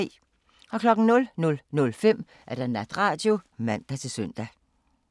00:05: Natradio (man-søn)